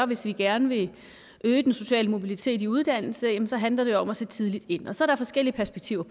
hvis vi gerne vil øge den sociale mobilitet i uddannelse handler det om at sætte tidligt ind og så er der forskellige perspektiver